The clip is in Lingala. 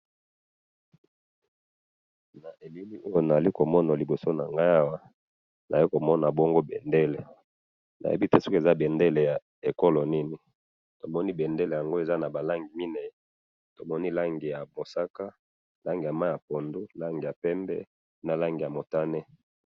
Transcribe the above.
Na elili oyo nazali ko mona liboso na nga awa, naye ko mona bongo bendele, neyebi te soki eza bendele ya ekolo nini, tomoni bendele yango eza na ba langi minei, tomoni langi ya bosaka, langi ya mayi ya pondu , langi ya pembe na langi ya motane.